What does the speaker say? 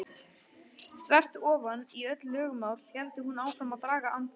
Þvert ofan í öll lögmál hélt hún áfram að draga andann.